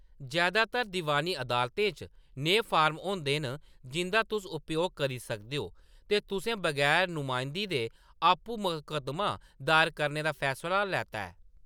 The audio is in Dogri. जैदातर दीवानी अदालतें च नेह् फार्म होंदे न जिंʼदा तुस उपयोग करी सकदे ओ जे तुसें बगैर नमायंदगी दे आपूं मकद्दमा दायर करने दा फैसला लैता ऐ।